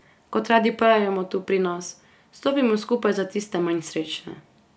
Kot radi pravimo tu pri nas, stopimo skupaj za tiste manj srečne...